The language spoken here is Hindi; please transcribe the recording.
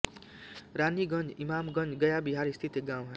रानीगंज इमामगंज गया बिहार स्थित एक गाँव है